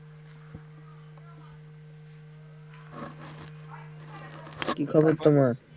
কী খবর তোমার?